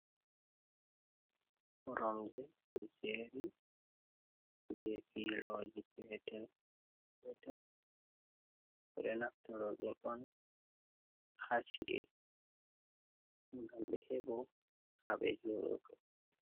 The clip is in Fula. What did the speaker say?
Koromje ɓe jeeri be filooji petel petel, ɓe ɗo naftoro ɗum on haa ci’e, ngam ɓe heɓo haa ɓe jooɗoto.